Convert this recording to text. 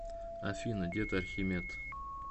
афина дед архимед